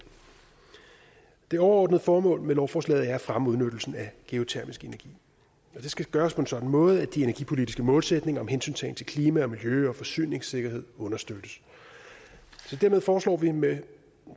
det overordnede formål med lovforslaget er at fremme udnyttelsen af geotermisk energi og det skal gøres på en sådan måde at de energipolitiske målsætninger om hensyntagen til klima miljø og forsyningssikkerhed understøttes så dermed foreslår vi med